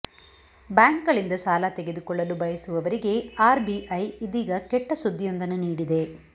bank ಗಳಿಂದ ಸಾಲ ತೆಗೆದುಕೊಳ್ಳಲು ಬಯಸುವವರಿಗೆ ಆರ್ ಬಿಐ ಇದೀಗ ಕೆಟ್ಟ ಸುದ್ದಿಯೊಂದನ್ನು ನೀಡಿದೆ